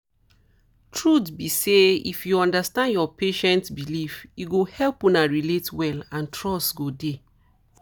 truth be say if you understand your patient beliefs e go help una relate well and trust go dey